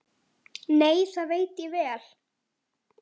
Nei, það veit ég vel.